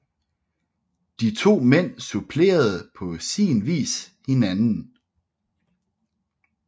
De to mænd supplerede på sin vis hinanden